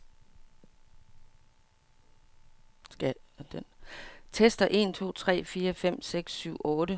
Tester en to tre fire fem seks syv otte.